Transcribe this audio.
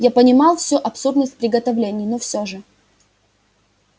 я понимал всю абсурдность приготовлений но всё же